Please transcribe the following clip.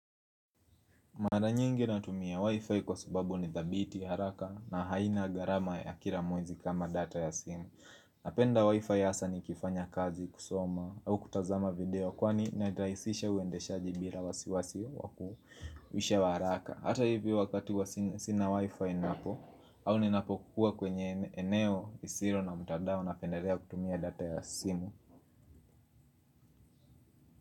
Mara nyingi natumia wifi kwa sababu ni thabiti haraka na haina gharama ya kila mwezi kama data ya simu Napenda wifi hasa ni kifanya kazi kusoma au kutazama video kwani naraisisha uendeshaji bila wasiwasi wakuu Wisha waraka Hata hivi wakati sinia wifi napo au ninapo kuwa kwenye eneo, isio na mtandao napendalea kutumia data ya simu.